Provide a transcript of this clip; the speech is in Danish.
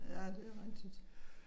Ja det er rigtigt